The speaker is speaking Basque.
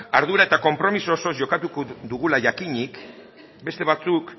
ardura eta konpromiso osoz jokatuko dugula jakinik beste batzuk